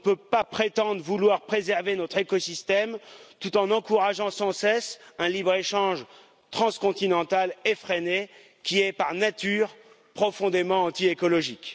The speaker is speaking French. on ne peut pas prétendre vouloir préserver notre écosystème, tout en encourageant sans cesse un libre échange transcontinental effréné, qui est par nature profondément anti écologique.